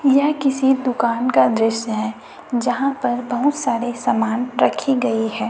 यह किसी दुकान का दृश्य है जहां पर बहुत सारे सामान रखी गई है।